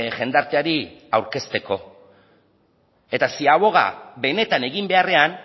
jendarteari aurkezteko eta ziaboga benetan egin beharrean